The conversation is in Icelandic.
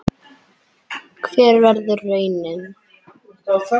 Hver verður raunin?